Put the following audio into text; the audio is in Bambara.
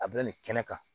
A bilalen kɛnɛ kan